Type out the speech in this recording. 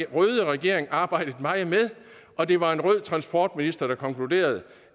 røde regeringer arbejdet meget med og det var en rød transportminister der konkluderede